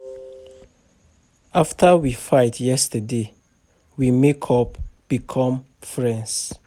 After we fight yesterday we make up come become friends